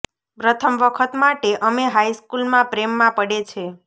પ્રથમ વખત માટે અમે હાઈ સ્કૂલમાં પ્રેમમાં પડે છે